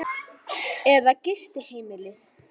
Ívar Ingimarsson: Eða gistiheimilið?